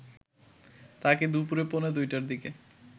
তাকে দুপুর পৌনে ২ টার দিকে